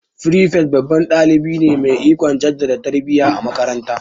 Firifet babban dalibi ne mai ikon jaddada tarbiya a makaranta.